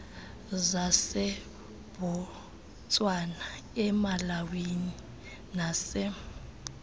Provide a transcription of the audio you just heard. zasebotswana emalawi nase